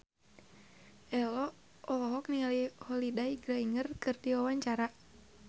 Ello olohok ningali Holliday Grainger keur diwawancara